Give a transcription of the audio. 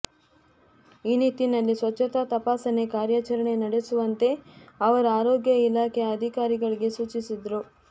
ಈ ನಿಟ್ಟಿನಲ್ಲಿ ಸ್ವಚ್ಛತಾ ತಪಾಸಣೆ ಕಾರ್ಯಾಚರಣೆ ನಡೆಸುವಂತೆ ಅವರು ಆರೋಗ್ಯ ಇಲಾಖೆಯ ಅಧಿಕಾರಿಗಳಿಗೆ ಸೂಚಿಸಿದರು